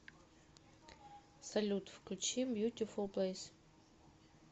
салют включи бьютифул плэйс